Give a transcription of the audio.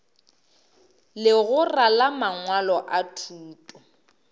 legora la mangwalo a thuto